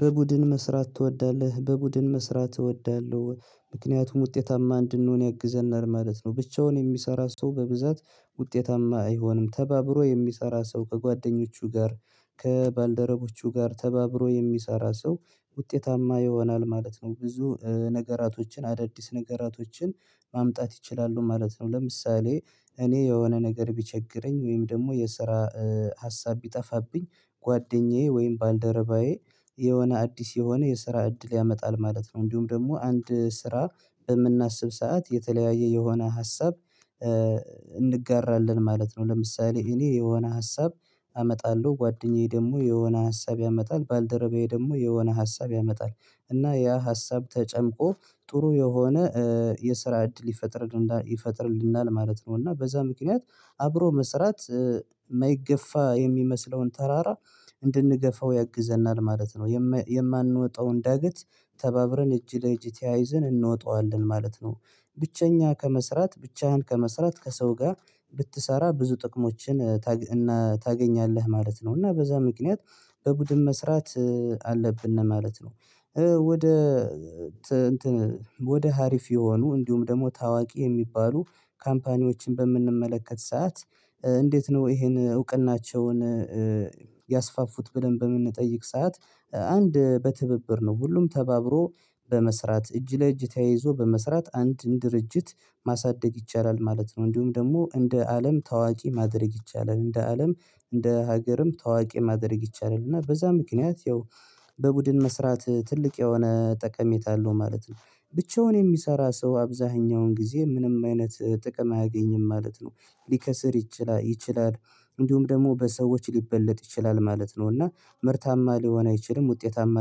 በቡድን መስራት ትወዳለህ በቡድን መስራት እወዳለሁ ምክንያቱም ውጤታማ እንድንሆን ያግዘናል ማለት ነው። ብቻውን የሚሰራ ሰው በብዛት ውጤታማ አይሆንም ተባብሮ የሚሰራ ሰው ከጓደኞቹ ጋር ከባልደረቦቹ ጋር ተባብሮ የሚሰራ ሰው ውጤታማ ይሆናል ማለት ነው። ብዙ ነገራቶችን አዳዲስ ነገራቶችን ማምጣት ይችላሉ ማለት ነው። ለምሳሌ እኔ የሆነ ነገር ቢቸግረኝ ወይም ደግሞ የስራ ሀሳብ ቢጠፋብኝ ጓደኛዬ ወይም ባልደረባዬ የሆነ አዲስ የሆነ የስራ እድል ያመጣል ማለት ነው። እንዲሁም ደግሞ አንድ ስራ የምናስብ ሰዓት የተለያየ የሆነ ሀሳብ እንጋራለን ማለት ነው። ለምሳሌ እኔ የሆነ ሀሳብ አመጣለሁ ጓደኛዬ ደግሞ የሆነ ሀሳብ ያመጣል ባልደረባዬ ደግሞ የሆነ ሀሳብ ያመጣል እና ያ ሀሳብ ተጨምቆ ጥሩ የሆነ የስራ እድል ይፈጥርልናል ማለት ነው። እና በዛ ምክንያት አብሮ መስራት ማይገፋ የሚመስለውን ተራራ እንድንገፋው ያግዘናል ማለት ነው። የማንወጣውን ዳገት ተባብረን እጅ ለእጅ ተያይዘን እንወጣዋለን ማለት ነው። ብቸኛ ከመስራት ብቻህን ከመስራት ከሰው ጋ ብትሰራ ብዙ ጥቅሞችን ታገኛለህ ማለት ነው። እና በዛ ምክንያት በቡድን መስራት አለብን ማለት ነው። ወደ እንትን ወደ ሀሪፍ የሆኑ እንዲሁም ደግሞ ታዋቂ የሚባሉ ካምፓኒዎችን በምንመለከት ሰዓት እንዴት ነው? ይሄን እውቅናቸውን ያስፋፉት ብለን በምንጠይቅ ሰዓት አንድ በትብብር ነው ሁሉም ተባብሮ በመስራት እጅ ለእጅ ተያይዞ በመስራት አንድን ድርጅት ማሳደግ ይቻላል ማለት ነው። እንዲሁም ደግሞ እንደ አለም ታዋቂ ማድረግ ይቻላል እንደ አለም እንደ ሀገርም ታዋቂ ማድረግ ይቻላል። እና በዛ ምክንያት ያው በቡድን መስራት ትልቅ የሆነ ጠቀሜታ አለው ማለት ነው። ብቻውን የሚሰራ ሰው አብዛሀኛውን ጊዜ ምንም አይነት ጥቅም አያገኝም ማለት ነው። ሊከስር ይችላል እንዲሁም ደግሞ በሰዎች ሊበለጥ ይችላል ማለት ነው። እና ምርታማ ሊሆን አይችልም ውጤታማ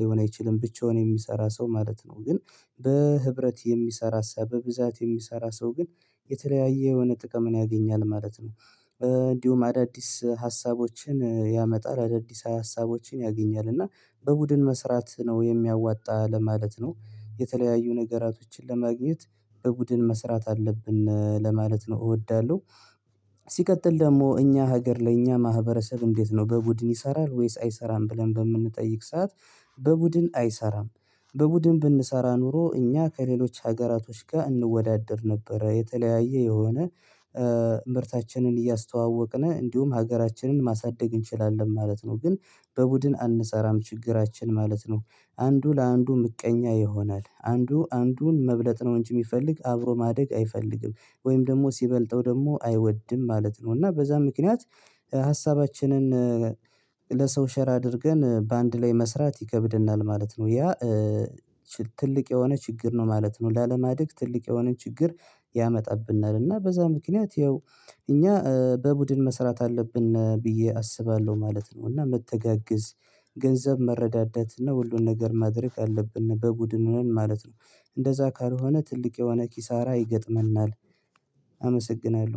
ሊሆን አይችልም ብቻውን የሚሰራ ሰው ማለት ነው። ግን በህብረት የሚሰራ ሰው በብዛት የሚሰራ ሰው ግን የተለያየ የሆነ ጥቅምን ያገኛል ማለት ነው። እንዲሁም አዳዲስ ሀሳቦችን ያመጣል አዳዲስ ሀሳቦችን ያገኛል እና በቡድን መስራት ነው የሚያዋጣ ለማለት ነው። የተለያዩ ነገራቶችን ለማግኘት በቡድን መስራት አለብን ለማለት ነው እወዳለሁ። ሲቀጥል ደግሞ እኛ ሀገር ለእኛ ማህበረሰብ እንዴት ነው? በቡድን ይሰራል ወይስ አይሰራም ብለን በምንጠይቅ ሰዓት በቡድን አይሰራም። በቡድን ብንሰራ ኖሮ እኛ ከሌሎች ሀገራቶች ጋ እንወዳደር ነበረ የተለያየ የሆነ ምርታችንን እያስተዋወቅን እንዲሁም ሀገራችንን ማሳደግ እንችላለን ማለት ነው። ግን በቡድን አንሰራም ችግራችን ማለት ነው። አንዱ ለአንዱ ምቀኛ ይሆናል አንዱ አንዱን መብለጥ ነው እንጂ ሚፈልግ አብሮ ማደግ አይፈልግም ወይም ደግሞ ሲበልጠው ደግሞ አይወድም ማለት ነው። እና በዛ ምክንያት ሀሳባችንን ለሰው ሸር አድርገን በአንድ ላይ መስራት ይከብደናል ማለት ነው። ያ ትልቅ የሆነ ችግር ነው ማለት ነው። ላለማደግ ትልቅ የሆነ ችግር ያመጣብናል እና በዛ ምክንያት ያው እኛ በቡድን መስራት አለብን ብዬ አስባለሁ ማለት ነው። እና መተጋገዝ ገንዘብ መረዳደት እና ሁሉን ነገር ማድረግ አለብን በቡድን ሁነን ማለት ነው። እንደዛ ካልሆነ ትልቅ የሆነ ኪሳራ ይገጥመናል። አመሰግናለሁ